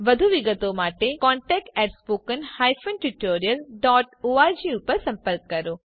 વધુ વિગતો માટે contactspoken tutorialorg પર સંપર્ક કરો